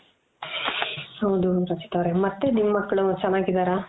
ಹೌದು ರಚಿತ ಅವ್ರೆ ಮತ್ತೆ ನಿಮ್ ಮಕ್ಕ್ಲು ಚೆನ್ನಾಗಿದಾರ?